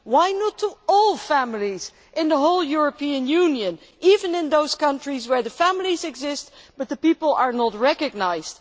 Why not to all families in the whole of the European Union, even in those countries where the families exist but the people are not recognised?